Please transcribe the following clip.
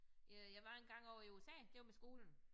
Øh jeg var engang ovre i USA det var med skolen